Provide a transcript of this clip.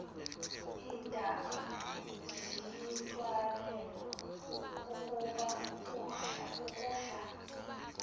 iintaba ziyithwalela ukudla